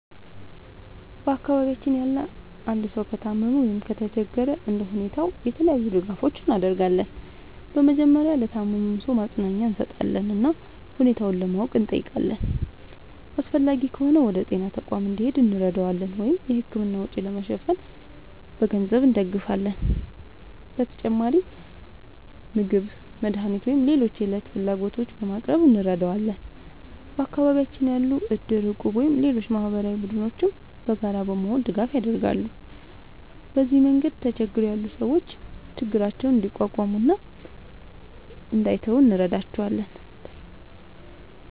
በአካባቢያችን ያለ አንድ ሰው ከታመመ ወይም ከተቸገረ እንደ ሁኔታው የተለያዩ ድጋፎችን እናደርጋለን። በመጀመሪያ ለታመመው ሰው ማጽናኛ እንሰጣለን እና ሁኔታውን ለማወቅ እንጠይቃለን። አስፈላጊ ከሆነ ወደ ጤና ተቋም እንዲሄድ እንረዳዋለን ወይም የሕክምና ወጪ ለመሸፈን በገንዘብ እንደግፋለን። በተጨማሪም ምግብ፣ መድኃኒት ወይም ሌሎች የዕለት ፍላጎቶችን በማቅረብ እንረዳዋለን። በአካባቢያችን ያሉ እድር፣ እቁብ ወይም ሌሎች ማህበራዊ ቡድኖችም በጋራ በመሆን ድጋፍ ያደርጋሉ። በዚህ መንገድ ተቸግረው ያሉ ሰዎች ችግራቸውን እንዲቋቋሙ እና እንዳይተዉ እንረዳቸዋለን።